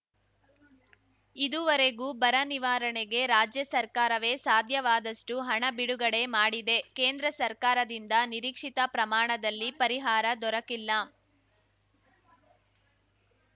ಇದುವರೆಗೂ ಬರ ನಿವಾರಣೆಗೆ ರಾಜ್ಯ ಸರ್ಕಾರವೇ ಸಾಧ್ಯವಾದಷ್ಟುಹಣ ಬಿಡುಗಡೆ ಮಾಡಿದೆ ಕೇಂದ್ರ ಸರ್ಕಾರದಿಂದ ನಿರೀಕ್ಷಿತ ಪ್ರಮಾಣದಲ್ಲಿ ಪರಿಹಾರ ದೊರಕಿಲ್ಲ